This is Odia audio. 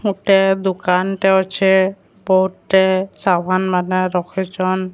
ଗୁଟେ ଦୁକାନଟେ ଅଛି ବହୁତେ ସାମାନ ମାନେ ରଖିଚନ।